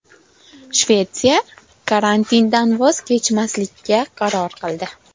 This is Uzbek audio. Shvetsiya karantindan voz kechmaslikka qaror qildi.